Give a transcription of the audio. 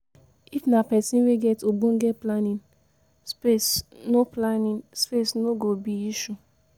if na person wey get ogbonge planning, space no planning space no go be issue